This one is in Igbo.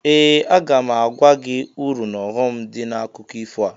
Ee! Aga m agwa gị uru n'ọghọm dị n'akụkọ ifo a.